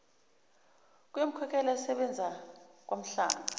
uyomkhokhela esesebenza kwanhlanga